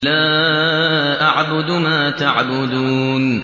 لَا أَعْبُدُ مَا تَعْبُدُونَ